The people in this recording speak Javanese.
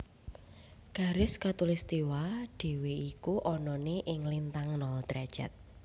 Garis Katulistiwa dhewe iku anane ing lintang nol derajat